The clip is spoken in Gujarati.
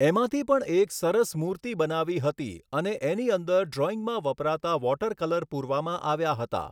એમાંથી પણ એક સરસ મૂર્તિ બનાવી હતી હતી અને એની અંદર ડ્રૉઈંગમાં વપરાતા વૉટર કલર પૂરવામાં આવ્યા હતા